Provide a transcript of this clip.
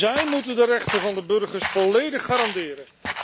Zij moeten de rechten van de burgers volledig garanderen.